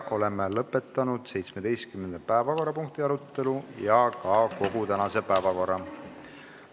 Oleme lõpetanud 17. päevakorrapunkti arutelu ja läbinud ka kogu tänase päevakorra.